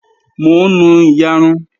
Mò ń nu iyarun